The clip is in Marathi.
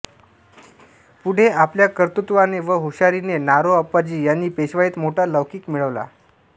पुढे आपल्या कर्तृत्वाने व हुशारीने नारो आप्पाजी यांनी पेशवाईत मोठा लौकिक मिळविला